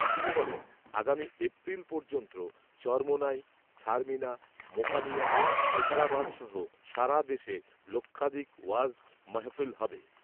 তিনি বলেন, আগামী এপ্রিল পর্যন্ত চরমোনাই, ছারছিনা, মোকামিয়া, নেছারাবাদসহ সারা দেশে লক্ষাধিক ওয়াজ মাহফিল হবে